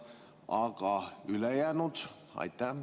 Aga ülejäänud?